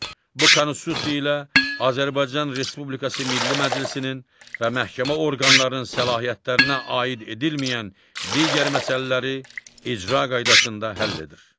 Bu Konstitusiya ilə Azərbaycan Respublikası Milli Məclisinin və məhkəmə orqanlarının səlahiyyətlərinə aid edilməyən digər məsələləri icra qaydasında həll edir.